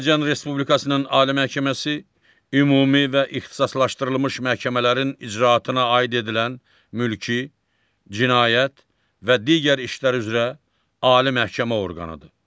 Azərbaycan Respublikasının Ali Məhkəməsi ümumi və ixtisaslaşdırılmış məhkəmələrin icraatına aid edilən mülki, cinayət və digər işlər üzrə Ali məhkəmə orqanıdır.